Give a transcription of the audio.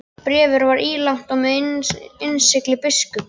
Bréfið var ílangt og með innsigli biskups.